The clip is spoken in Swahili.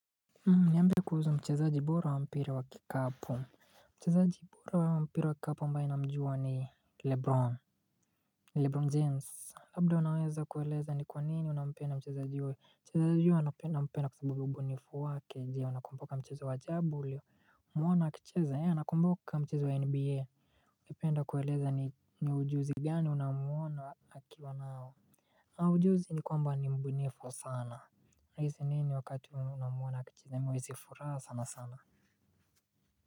Niambie kuhusu mchezaji bora wa mpira wa kikapu. Mchezaji bora wa mpira wa kikapu ambae namjua ni Lebron Lebron James. Labda wanaweza kueleza ni kwa nini unampenda mchezaji huyo. Mchezaji huyo anampenda mpenda kwa sabubi mbunifu wake. Je unakumboka mcheza wa aJabuli kumwona akicheza ea nakumbuka mchezo wa NBA. Kipenda kueleza ni ujuzi gani unamwona wakiwa nao. Au ujuzi ni kwamba mbunifu sana. Raisi mi ni wakatu na mwona akacheza mi huisi furaha sana sana.